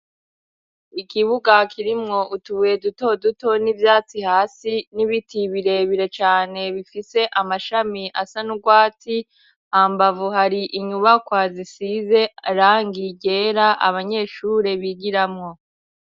Ikibuga kirimwo utubuye duto duto n'ivyatsi hasi, n'ibiti birebire cane bifise amashami asa n'urwatsi. Hambavu har'inyubakwa zisize irangi ryera abanyeshuri bigiramwo.